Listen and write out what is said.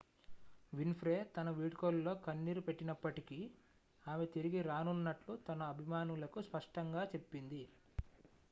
win ఫ్రే తన వీడ్కోలులో కన్నీరు పెట్టినప్పటికీ ఆమె తిరిగి రానున్నట్లు తన అభిమానులకు స్పష్టంగా చెప్పింది